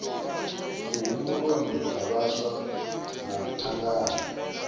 muhumbuloni dza vhaswa na thangana